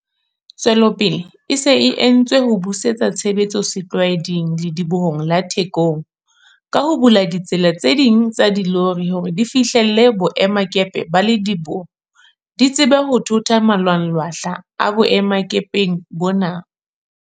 Tswelopele e se e entswe ho busetsa tshebetso setlwaeding Ledibohong la Thekong, ka ho bula ditsela tse ding tsa dilori hore di fihlelle boemakepe ba lediboho, di tsebe ho thotha malwanglwahla a boemakepeng bona.